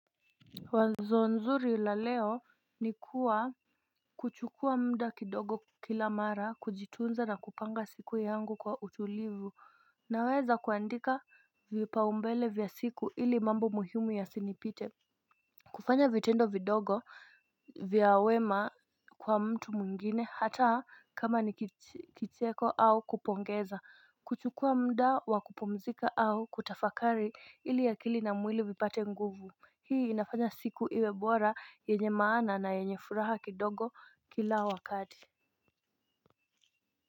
Wazo nzuri la leo ni kuwa kuchukua muda kidogo kila mara kujitunza na kupanga siku yangu kwa utulivu naweza kuandika vipaumbele vya siku ili mambo muhimu ya sinipite. Kufanya vitendo vidogo vya wema kwa mtu mwingine hata kama nikicheko au kupongeza kuchukua muda wa kupumzika au kutafakari ili akili na mwili vipate nguvu. Hii inafanya siku iwe bora yenye maana na yenye furaha kidogo kila wakati.